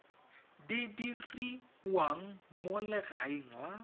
di diriwang mo legaeng la